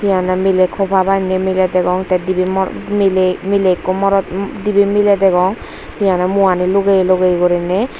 hehonne miley kopa banney miley degong te dibey moro dibey miley degong he honne muani lugeye lugeye guriney.